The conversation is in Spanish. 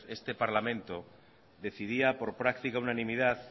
este parlamento decidía por práctica unanimidad